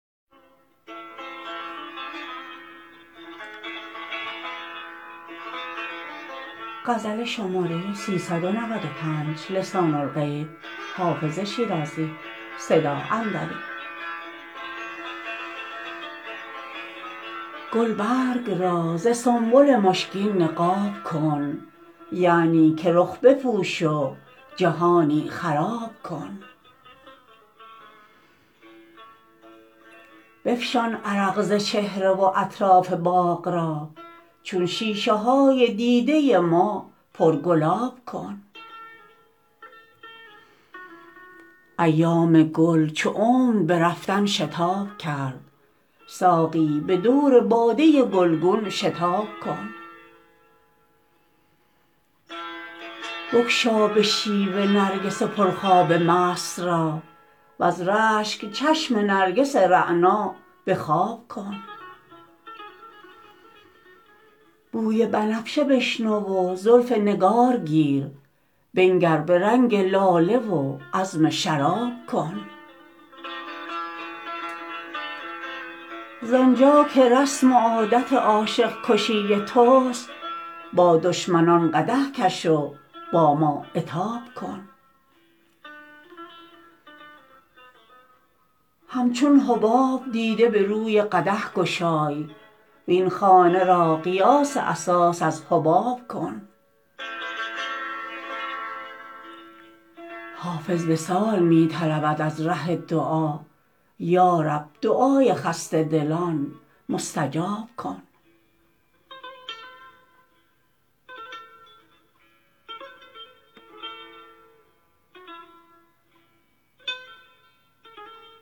گلبرگ را ز سنبل مشکین نقاب کن یعنی که رخ بپوش و جهانی خراب کن بفشان عرق ز چهره و اطراف باغ را چون شیشه های دیده ما پرگلاب کن ایام گل چو عمر به رفتن شتاب کرد ساقی به دور باده گلگون شتاب کن بگشا به شیوه نرگس پرخواب مست را وز رشک چشم نرگس رعنا به خواب کن بوی بنفشه بشنو و زلف نگار گیر بنگر به رنگ لاله و عزم شراب کن زآن جا که رسم و عادت عاشق کشی توست با دشمنان قدح کش و با ما عتاب کن همچون حباب دیده به روی قدح گشای وین خانه را قیاس اساس از حباب کن حافظ وصال می طلبد از ره دعا یا رب دعای خسته دلان مستجاب کن